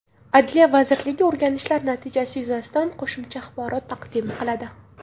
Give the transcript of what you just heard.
Adliya vazirligi o‘rganishlar natijasi yuzasidan qo‘shimcha axborot taqdim qiladi.